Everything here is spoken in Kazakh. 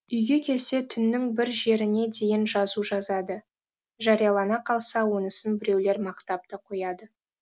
үйге келсе түннің бір жеріне дейін жазу жазады жариялана қалса онысын біреулер мақтап та қояды